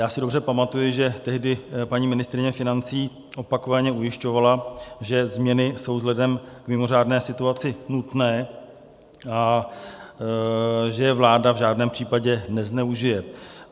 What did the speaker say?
Já si dobře pamatuji, že tehdy paní ministryně financí opakovaně ujišťovala, že změny jsou vzhledem k mimořádné situaci nutné a že je vláda v žádném případě nezneužije.